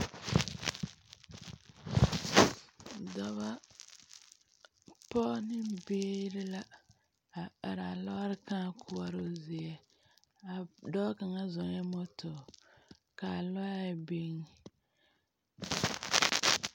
Dɔbɔ, pɔɔ ne biiri la a araa lɔɔre kᾱᾱ koɔroo zie. A.., dɔɔ kaŋa zɔɔɛ moto, ka lɔɛ biŋ.